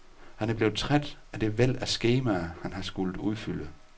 Han er blevet træt, af det væld af skemaer, han har skullet udfylde.